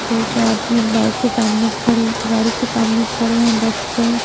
दो चार आदमी बाइक के सामने खड़े गाड़ी के सामने खड़े हैं बस के--